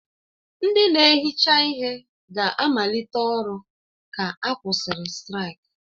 Ndị na-ehicha ihe ga-amalite ọrụ ka a kwụsịrị straiki.